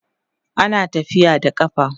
ana tafiya da ƙafa